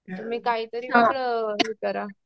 तुम्ही काहीतरी वेगळं हे करा.